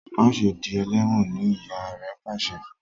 Ma ṣe dì eléwòn! ní ìyá rẹ pàṣẹ fún.